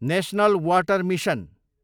national water mission